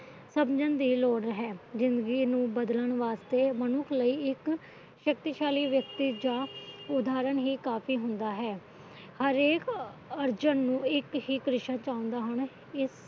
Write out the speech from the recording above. ਸਮਝਣ ਦੀ ਲੋੜ ਹੈ ਜਿੰਗਦੀ ਨੂੰ ਬਦਲਣ ਵਾਸਤੇ ਮਨੁੱਖ ਇੱਕ ਸ਼ਕਤੀ ਸ਼ਾਲੀ ਜਾ ਉਦਹਰਣ ਹੀ ਕਾਫੀ ਹੁੰਦਾ ਹੈ ਹਰੇਕ ਅਰਜਨ ਨੂੰ ਇੱਕ ਹੀ